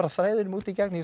þræðinum út í gegn ég